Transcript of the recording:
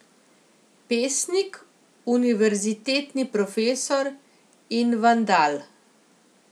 Pesnik, univerzitetni profesor in vandal.